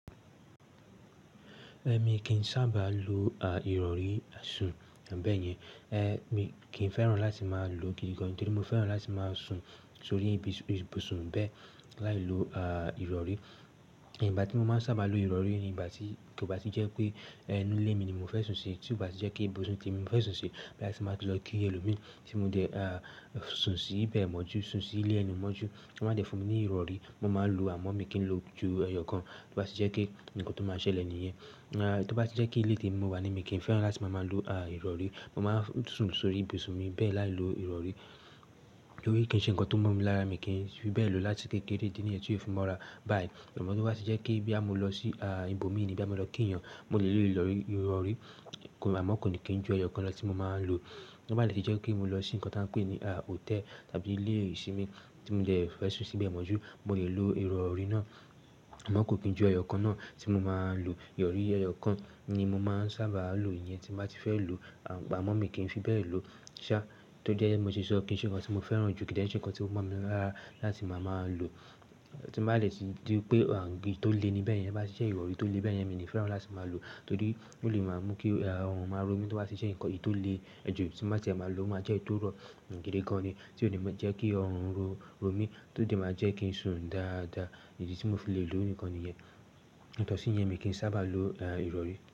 Èmi kì í sábà lo ìrọrí sùn, bẹ̀yẹ̀n. Mi kì í fẹ́ràn láti máa lo gidi gan. Nítorí mo fẹ́ràn láti máa sùn sórí ibùsùn bẹ́ẹ̀ láì lo ìrọrí. Ìgbà tí mo máa sábà lo ìrọrí ni ìgbà tí, kí ó bá ti jẹ́ pé ẹnu ilé mi ni mo fẹ́ sùn sí. Tí ó bá ti jẹ́ pé ibùsùn mi ni mo fẹ́ sùn sí, that is ti báa tí lọ kí ẹlòmi tí mo dẹ́ sùn sí bẹ́ẹ̀ mọ́ jù, sùn sí ilé ẹni mọ́ jù, tí wọ́n bá dẹ fún mi ní ìrọrí, mo máa lo àmọ́ mi kin lo ju ẹyọ kan. Tí ó bá ti jẹ́ pé nǹkan tó máa ṣẹlẹ̀ nìyẹn. Tí ó bá ti jẹ́ pé ilé mi mo wà ní, mi kì í fẹ́ràn láti máa lo ìrọrí. Mo máa ń sùn sórí ibùsùn mi bẹ́ẹ̀ láì lo ìrọrí. Nítorí kí í ṣe ǹkan tó mọ́ mi lára mi kí n fi bẹ́ẹ̀ lò láti kékeré. Ìdí ni yẹn tí ó fi mọra. Báyìí àmọ́ tí ó bá ti jẹ́ pé bóyá mo lọ sí ibòmíìni, bóyá mo lọ kí yàn, mo lè lò ìrọrí. Àmọ́ kò dẹ̀ kí n jù ẹyọ kan lọ tí mo máa ń lo. Tí ó bá lè ti jẹ́ pé mo lọ sí nǹkan tí wọ́n ń pè ní hòtẹ́ẹ̀lì tàbí ilé ìsinmi tí mo dẹ́ fẹ́ sùn sí bẹ́ẹ̀ mọ́ jù, mo lè lo ìrọ̀rí náà. Àmọ́ kò kí n jù ẹyọ kan náà tí mo máa ń lo. Ìrọ̀rí ẹyọ kan ni mo máa ń sábà lo. Ìyẹn tí mo bá ti fẹ́ lò, àmọ́ mi kì í fi bẹ́ẹ̀ lò. Ṣá, tó jẹ́ bí mo ti sọ, kì í ṣe ǹkan tí mo fẹ́ràn jù, kí í dẹ́rẹ̀ ẹ́, kì í ṣe ǹkan tí ó mọ́ mi lára láti máa ń lo. Tí bá dẹ̀ ti dí pé itólè ni bẹ́ẹ̀ yẹn. Bá ti jẹ́ ìrọ̀rí tólè bẹ́ẹ̀ yẹn, mi ò ní fẹ́ràn láti máa lò. Nítorí ó lè máa mú kí ọrùn máa ró mi. Tí ó bá ti ṣe ǹkan èyí tólè, ẹ́ jù tí mo bá ti máa lò, ó máa jẹ́ èyí tó rọ̀ gidi gan ni tí ó lè máa jẹ́ kí ọrùn ró mi, tó sì máa jẹ́ kí n sùn dáadáa. Èyí tí mo fi lè lò nìkan nìyẹn. Ó tọ́ sí yẹn, mi kì í sábà lo ìrọ̀rí.